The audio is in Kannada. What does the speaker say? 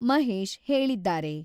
ಮಹೇಶ್ ಹೇಳಿದ್ದಾರೆ.